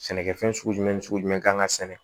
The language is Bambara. Sɛnɛkɛfɛn sugu jumɛn ni sugu jumɛn kan ka sɛnɛ